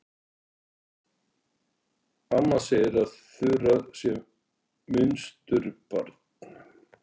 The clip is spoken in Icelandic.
Amma segir að Þura sé munsturbarn.